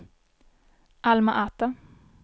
Alma-Ata